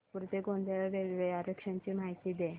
नागपूर ते गोंदिया रेल्वे आरक्षण ची माहिती दे